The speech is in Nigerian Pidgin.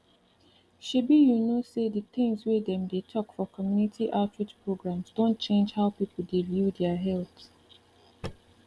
shebi you know say the things wey dem dey talk for community outreach programs don change how people dey view their health